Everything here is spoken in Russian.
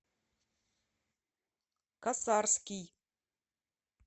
косарский